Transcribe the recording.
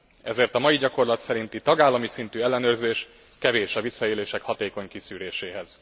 Ezért a mai gyakorlat szerinti, tagállami szintű ellenőrzés kevés a visszaélések hatékony kiszűréséhez.